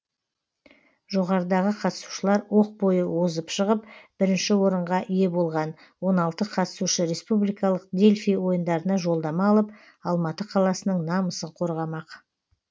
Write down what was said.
жоғарыдағы қатысушылар оқ бойы озып шығып бірінші орынға ие болған он алтыншы қатысушы республикалық дельфий ойындарына жолдама алып алматы қаласының намысын қорғамақ